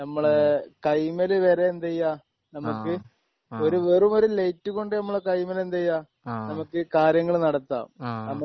ഹ്മ് ആഹ്ആഹ് ആഹ് ആഹ്